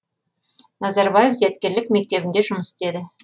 назарбаев зияткерлік мектебінде жұмыс істеді